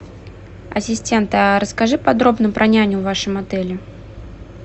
ассистент а расскажи подробно про няню в вашем отеле